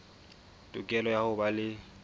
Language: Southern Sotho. tokelo ya ho ba le